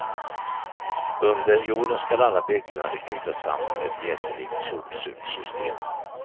Under jorden ska alla byggnader knytas samman med ett jättelikt sopsugssystem.